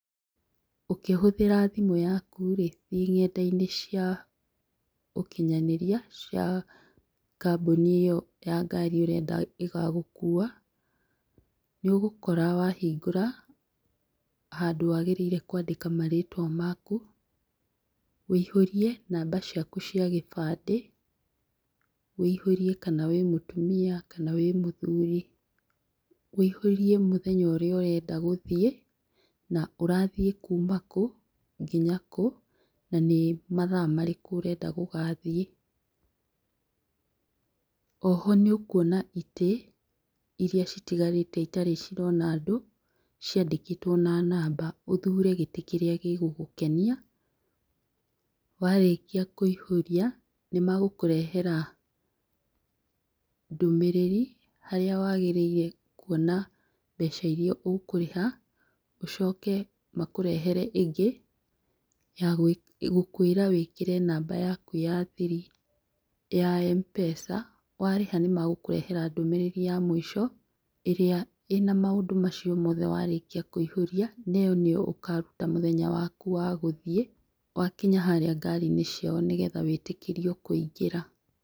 Ũkĩhũthĩra thimũ yaku rĩ thĩĩ nenda-inĩ cia ũkinyanĩria cia kambuni ĩyo ya ngari ũrenda ĩgagũkua, nĩ ũgũkora wahingũra, handũ wagĩrĩire kwandĩka marĩtwa maku, wũihũrie namba ciaku cia gĩbandĩ, wũihũrie kana wĩ mũtumia kana wĩ mũthuri, wũihũrie mũthenya ũrĩa ũrenda gũthiĩ na ũrathiĩ kuma kũ? Nginya kũ? Na nĩ mathaa marĩkũ ũrenda gũgathiĩ. Oho nĩ ũkuona itĩ, iria citigarĩte itarĩ cirona andũ ciandĩkĩtwo na namba, ũthure gĩtĩ kĩrĩa gĩgũgũkenia warĩkia kũihũria nĩ megũkũrehera ndũmĩrĩri harĩa wagĩrĩire kwona mbeca iria ũkũrĩha ũcoke makũrehere ĩngĩ, ya gũkwĩra wĩkĩre namba yaku ya thiri ya Mpesa, warĩha nĩ magũkũrehera ndũmĩrĩri ya mũico ĩrĩa ĩna maũndũ macio mothe warĩkia kũihũria neyo nĩyo ũkaruta mũthenya waku wa gũthiĩ wakinya harĩa ngari-inĩ ciao nĩgetha wĩtĩkĩrio kũingĩra.